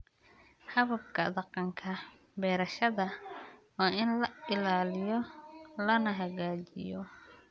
Hababka dhaqanka beerashada waa in la ilaaliyo lana hagaajiyo.